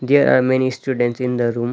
there are many students in the room.